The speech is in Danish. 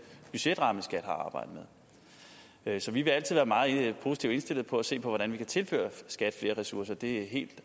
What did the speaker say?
budgetramme skat har arbejdet med så vi vil altid være meget positivt indstillet på at se på hvordan vi kan tilføre skat flere ressourcer for det er helt